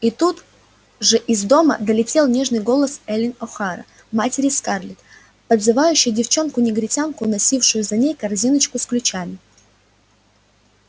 и тут же из дома долетел нежный голос эллин охара матери скарлетт подзывавшей девчонку-негритянку носившую за ней корзиночку с ключами